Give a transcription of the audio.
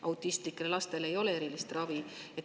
Autistlikele lastele ei ole erilist ravi.